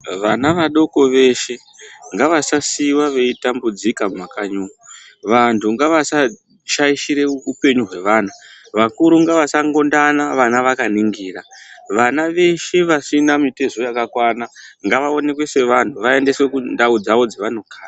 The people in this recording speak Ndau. Vana vadoko veshe ngava sasiwa veitambudzika mumakanyimo vantu ngasashaishira upenyu hwevana vakuru ngavasangondana vana vakaningira vana veshe vasina mitezo yakakwana ngavaonekwe sevantu ngavaendeswe mundau dzavo dzavano kugara